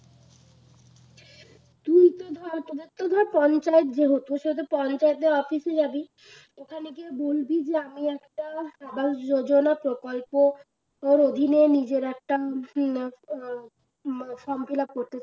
তুই তো ধর তোদের তো ধর পঞ্চায়েত যেহেতু সেহেতু পঞ্চায়েতের office এ যাবি ওখানে গিয়ে বলবি যে আমি একটা যোজনা প্রকল্প ওর অধীনে নিজের একটা form fill up করতে চায়